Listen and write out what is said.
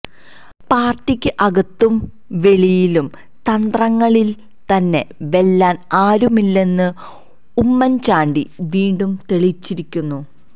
പാര്ട്ടിക്ക് അകത്തും വെളിയിലും തന്ത്രങ്ങളില് തന്നെ വെല്ലാന് ആരുമില്ലെന്ന് ഉമ്മന് ചാണ്ടി വീണ്ടും തെളിയിച്ചിരിക്കുന്നു